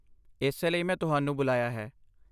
ਇਸੇ ਲਈ ਮੈਂ ਤੁਹਾਨੂੰ ਬੁਲਾਇਆ ਹੈ।